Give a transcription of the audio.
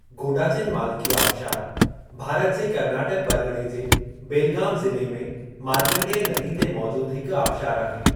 गोडाचिनमाल्की आबिशार भारत जे कर्नाटक परगि॒णे जे बेलगाम ज़िले में मार्कण्डेय नदी ते मौजूद हिकु आबिशारु आहे।